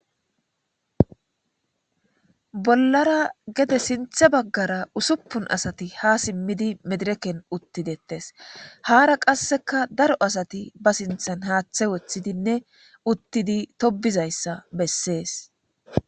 bollara gede sinthe baggara usuppun asati ha simmidi medireken uttidettes haara qasseka daro asati ba sinthan haaththe woththidinne uttidi tobizayssa bessees